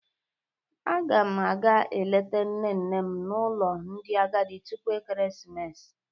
Ágà m àgá eleta nne nne m n'ụlọ ndị agadi tupu ekeresimesi